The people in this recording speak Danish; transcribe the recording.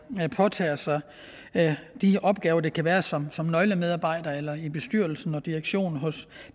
påtager sig de opgaver der kan være som som nøglemedarbejdere eller i bestyrelsen og direktionen hos